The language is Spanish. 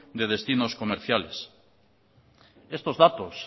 de destinos comerciales estos datos